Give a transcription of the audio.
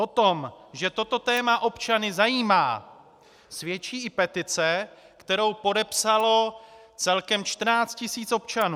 O tom, že toto téma občany zajímá, svědčí i petice, kterou podepsalo celkem 14 tisíc občanů.